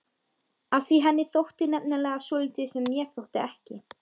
Af því henni þótti nefnilega svolítið sem mér þótti ekki.